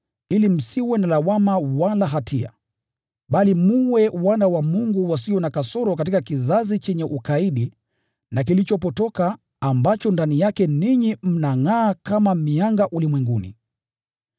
ili msiwe na lawama wala hatia, bali mwe wana wa Mungu wasio na kasoro katika kizazi chenye ukaidi na kilichopotoka, ambacho ndani yake ninyi mnangʼaa kama mianga ulimwenguni.